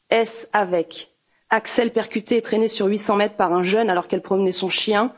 Est ce avec Axelle, percutée et traînée sur 800 mètres par un jeune alors qu'elle promenait son chien?